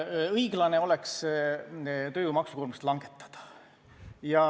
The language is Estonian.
Õiglane oleks tööjõu maksukoormust langetada.